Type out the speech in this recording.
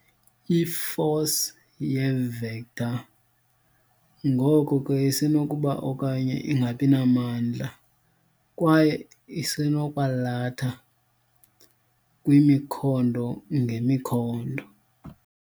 I-force yi-vector, ngoko ke isenokuba okanye ingabinamandla kwaye isenokwalatha kwimikhondo ngemoikhondo.